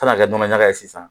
Kan ka kɛ nɔnɔ ɲaga ye sisan